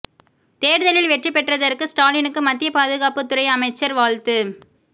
தேர்தலில் வெற்றி பெற்றதற்கு ஸ்டாலினுக்கு மத்திய பாதுகாப்பு துறை அமைச்சர் வாழ்த்து